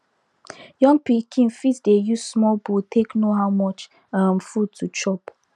young pikin fit dey use small bowl take know how much um food to chop